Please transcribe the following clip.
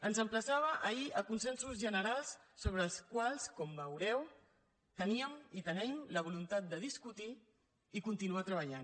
ens emplaçava ahir a consensos generals sobre els quals com veureu teníem i tenim la voluntat de discutir i continuar treballant